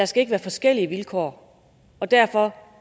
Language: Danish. skal være forskellige vilkår og derfor